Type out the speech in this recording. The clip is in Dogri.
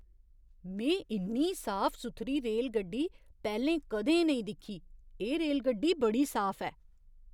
में इन्नी साफ सुथरी रेलगड्डी पैह्‌लें कदें नेईं दिक्खी ! एह् रेलगड्डी बड़ी साफ ऐ!